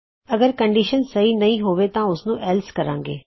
ਅਗਰ ਕੰਡੀਸ਼ਨ ਸਹੀ ਨਹੀ ਹੋਵੇ ਤਾਂ ਉਸਨੂੰ ਐਲ੍ਸ ਕਹਾਂਗੇ